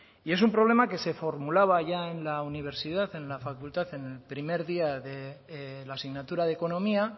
es un problema que se formulaba ya en la universidad en la facultad en el primer día de la asignatura de economía